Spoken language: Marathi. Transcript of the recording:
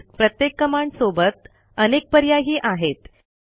तसेच प्रत्येक कमांडसोबत अनेक पर्यायही आहेत